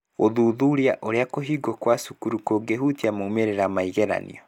Gũthuthuria ũrĩa kũhingwo kwa cukuru kũngĩhutia maumĩrĩra ma igeranio